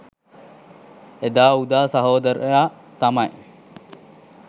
එදා උදා සහෝදරයා තමයි